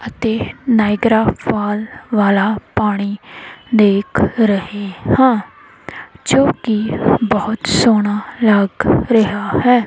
ਅਤੇ Niagara fall ਵਾਲਾ ਪਾਣੀ ਦੇਖ ਰਹੇ ਹਾਂ ਜੋ ਕਿ ਬਹੁਤ ਸੋਹਣਾ ਲੱਗ ਰਿਹਾ ਹੈ।